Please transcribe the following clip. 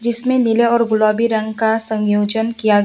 इसमें नीले और गुलाबी रंग का संयोजन किया ग--